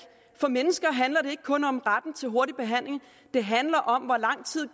for mennesker handler det ikke kun om retten til hurtig behandling det handler om hvor lang tid